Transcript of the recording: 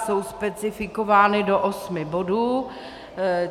Jsou specifikovány do osmi bodů.